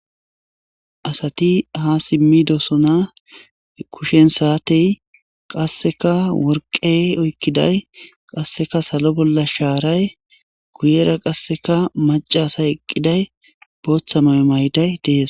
Asati ha simmidosona kushen saatey qasseka worqey oykkiday qasseka salo bolla shaaray kuyera qasseka macaasay eqqiday booththa mayo mayday dees.